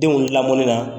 Denw lamɔnni na